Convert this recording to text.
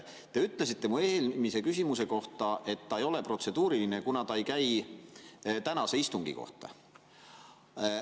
Te ütlesite minu eelmise küsimuse peale, et see ei ole protseduuriline, kuna see ei käi tänase istungi kohta.